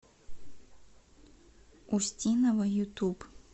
устинова ютуб